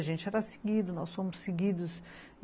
A gente era seguido, nós fomos seguidos.